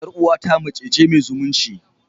Yar uwata mace ce mai zumunci.